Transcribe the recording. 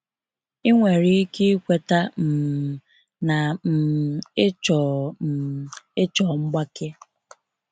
Ịnwere ike ikweta um na um ịchọ um ịchọ mgbake.